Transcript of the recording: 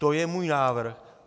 To je můj návrh.